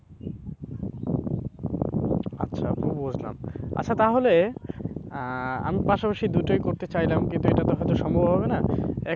আচ্ছা আপু বুঝলাম আচ্ছা তাহলে আহ আমি পাশাপাশি আমি দুটোই করতে চাইলাম কিন্তু এটা তো হয়তো সম্ভব হবে না,